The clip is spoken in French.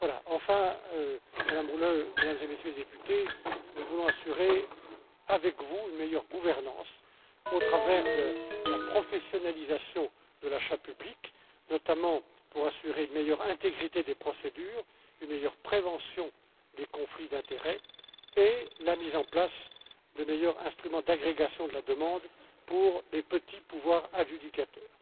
ces services. Enfin, Madame Rühle, Mesdames et Messieurs les députés, nous voulons assurer, avec vous, une meilleure gouvernance, au travers de la professionnalisation de l'achat public, notamment pour assurer une meilleure intégrité des procédures, une meilleure prévention des conflits d'intérêts et la mise en place de meilleurs instruments d'agrégation de la demande pour les petits pouvoirs adjudicateurs.